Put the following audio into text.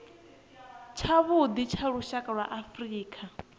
tshavhuḓi tsha lushaka lwa afrika